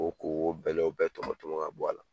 Ko ko bɛlɛw bɛɛ tɔmɔ tɔmɔ ka bɔ a la.